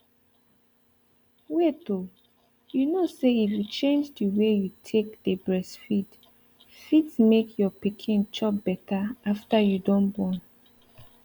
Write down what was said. wait oh you kow say if you change the way you take dey breastfeed fit make your pikin chop better after you don born